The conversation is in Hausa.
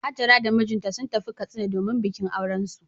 Hajara da mijinta sun tafi Katsina domin bikin aurensu.